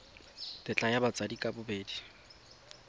tetla ya batsadi ka bobedi